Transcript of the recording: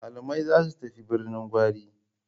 Malamai za su tafi Birnin Gwari.